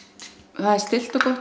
það er stillt og gott